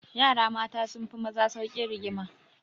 Yara mata sun fi maza saukin rigima.